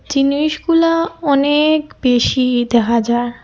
জিনিসগুলা অনেক বেশি দেখা যার।